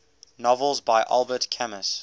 novels by albert camus